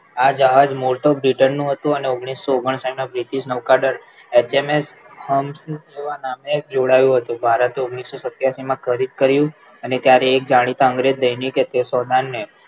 આ જહાજ મોર તો britain નું હતું અને ઓગણીસો ઓગનસાઇથના British નૌકાદળ એચએમએસ નામે જોડાવ્યું હતું ભારત તો ઓગણીસો સત્યાસીમાં ખરીદ કર્યું અને ત્યારે જાણીતા અંગ્રેજ દૈનિક તે સોનારને